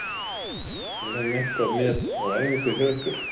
Er hann eitthvað með á æfingum hjá ykkur?